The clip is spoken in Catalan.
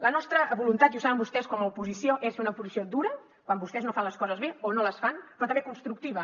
la nostra voluntat i ho saben vostès com a oposició és fer una oposició dura quan vostès no fan les coses bé o no les fan però també constructiva